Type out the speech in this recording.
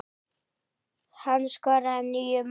Hann skoraði níu mörk.